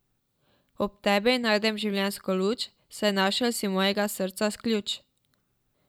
Ob tebi najdem življenjsko luč, saj našel si mojega srca ključ.